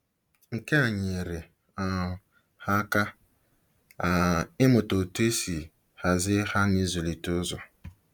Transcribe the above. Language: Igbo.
Nke a nyeere um ha aka um ịmụta otú e si hazie ha na ịzụlite ụzọ.